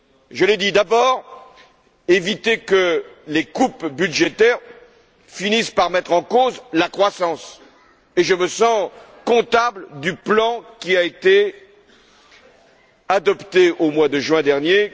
Je l'ai dit, d'abord, il faut éviter que les coupes budgétaires finissent par mettre en cause la croissance, et je me sens comptable du plan qui a été adopté au mois de juin dernier.